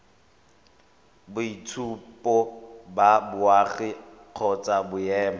boitshupo ba boagi kgotsa boemo